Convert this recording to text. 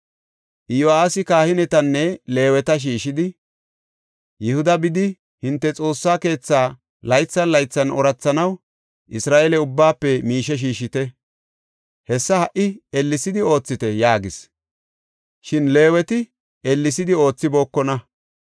Iyo7aasi kahinetanne Leeweta shiishidi, “Yihuda bidi hinte Xoossa keethaa laythan laythan oorathanaw Isra7eele ubbaafe miishe shiishite; hessa ha77i ellesidi oothite” yaagis. Shin Leeweti ellesidi oothibookona.